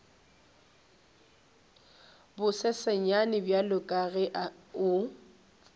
bosesenyane bjalo ka ge o